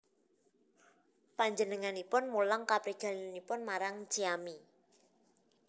Panjenenganipun mulang kaprigelanipun marang Zeami